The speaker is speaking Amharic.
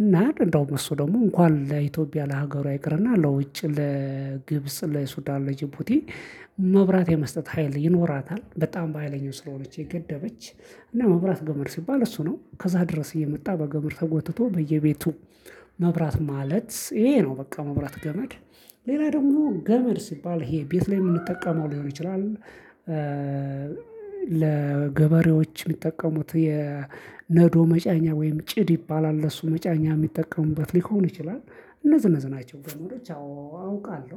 እና እንዲያውም እሱ ደግሞ እንኳን ለኢትዮጵያ ለሀገሯ ይቅርና ለውጭ ለግብጽ ለሱዳን ለጅቡቲ። መብራት የመስጠት ሀይል ይኖራታል በጣም በሀይለኞው ስለሆነ የገደበች እና መብራት ገመድ ሲባል እሱ ነው ከዛ ድረስ እየመጣ በገመድ ተጎትቶ በየቤቱ መብራት ማለት ይሄ ነው። በቃ መብራት ገመድ። ሌላ ደግሞ ገመድ ሲባል ይሄ ቤት ላይ የምንጠቀመው ሊሆን ይችላል። ለገበሬዎች እሚጠቀሙት የነዶ መጫኛ ወይም ጭድ ይባላል ለሱ መጫኛ እሚጠቀሙበት ሊሆን ይችላል። እነዚህ እነዚህ ናቸው ገመዶች ያው አውቃለሁ